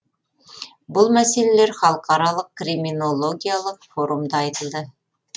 бұл мәселелер халықаралық криминологиялық форумда айтылды